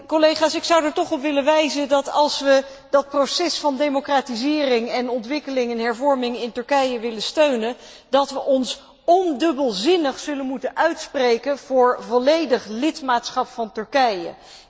Collega's, ik zou er toch op willen wijzen dat, als we dat proces van democratisering, ontwikkeling en hervorming in Turkije willen steunen, we ons ondubbelzinnig zullen moeten uitspreken voor volledig lidmaatschap van Turkije.